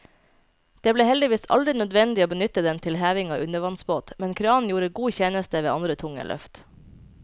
Det ble heldigvis aldri nødvendig å benytte den til heving av undervannsbåt, men kranen gjorde god tjeneste ved andre tunge løft.